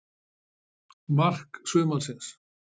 Mark sumarsins?